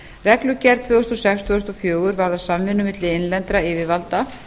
reglugerð tvö þúsund og sex tvö þúsund og fjögur varðar samvinnu milli innlendra yfirvalda